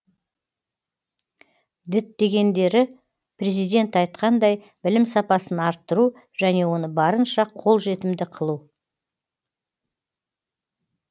діттегендері президент айтқандай білім сапасын арттыру және оны барынша қолжетімді қылу